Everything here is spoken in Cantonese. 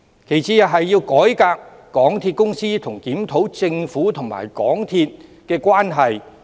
其次，改革港鐵公司和檢討政府與港鐵的關係。